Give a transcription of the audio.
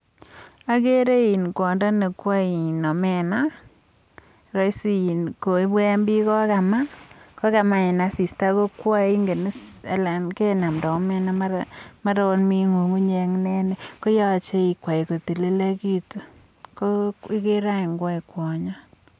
Okere kwondo nekwoe omena, roisi koibu en bii kokamaa, kokamaa en asista kokwoe ingen iis alaan kenamnda omena maran ot mii ng'ung'unyek, nee, koyoche ikwai kotililekitun, ko ikere any kwoee kwonyi.